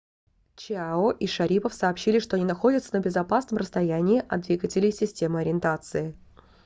чиао и шарипов сообщили что они находятся на безопасном расстояние от двигателей системы ориентации